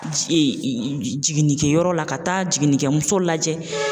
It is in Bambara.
jiginnikɛyɔrɔ la ka taa jiginnikɛmuso lajɛ